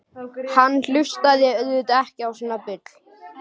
Hann hlustaði auðvitað ekki á svona bull.